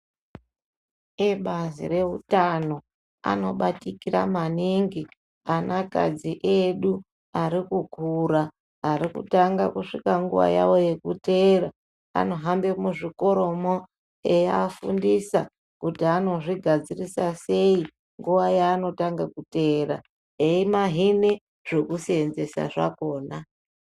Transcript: Ebazi reutano anobatikira maningi anakadzi edu ari kukura ari kutanga kusvika nguwa yavo yekuteera. Anofambe muzvikoromo eiafundisa kuti anozvigadzirisa sei ,nguwa yakhona eimahine zvekuseenzesa zvakhona.